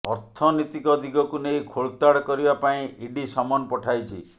ଅର୍ଥନୀତିକ ଦିଗକୁ ନେଇ ଖୋଳତାଡ କରିବା ପାଇଁ ଇଡି ସମନ ପଠାଇଛି